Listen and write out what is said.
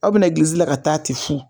Aw bɛ na egilizi la ka taa tɛ fu